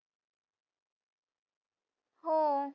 हो.